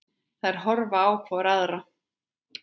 Þær horfa hvor á aðra.